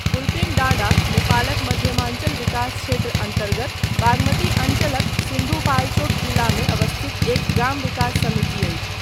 फुल्पिङडाँडा नेपालक मध्यमाञ्चल विकास क्षेत्र अन्तर्गत बागमती अञ्चलक सिन्धुपाल्चोक जिलाम अवस्थित एक ग्राम विकास समिति अछि।